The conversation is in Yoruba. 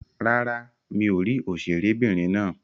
Rárá, mi ò rí òṣèré'bìnrin náà.